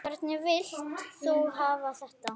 Hvernig vilt þú hafa þetta?